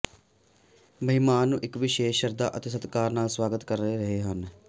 ਮਹਿਮਾਨ ਨੂੰ ਇੱਕ ਵਿਸ਼ੇਸ਼ ਸ਼ਰਧਾ ਅਤੇ ਸਤਿਕਾਰ ਨਾਲ ਸਵਾਗਤ ਕਰ ਰਹੇ ਹਨ